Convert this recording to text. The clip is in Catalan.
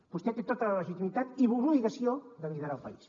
vostè té tota la legitimitat i l’obligació de liderar el país